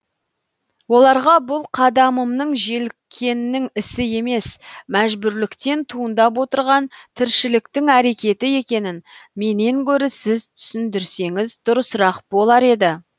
оларға бұл қадамымның желіккеннің ісі емес мәжбүрліктен туындап отырған тіршіліктің әрекеті екенін менен гөрі сіз түсіндірсеңіз дұрысырақ болар еді